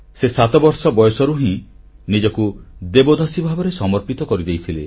ସେ ସାତବର୍ଷ ବୟସରୁ ହିଁ ନିଜକୁ ଦେବଦାସୀ ଭାବରେ ସମର୍ପିତ କରିଦେଇଥିଲେ